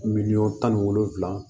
Miliyɔn tan ni wolonwula